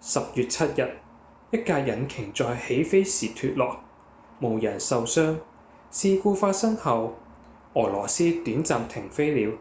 10月7日一架引擎在起飛時脫落無人受傷事故發生後俄羅斯短暫停飛了